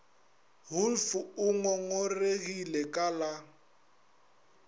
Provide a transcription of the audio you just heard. wolff o ngongoregile ka la